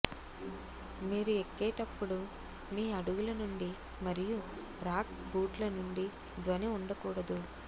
మీరు ఎక్కేటప్పుడు మీ అడుగుల నుండి మరియు రాక్ బూట్ల నుండి ధ్వని ఉండకూడదు